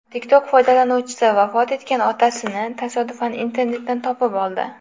TikTok foydalanuvchisi vafot etgan otasini tasodifan internetdan topib oldi.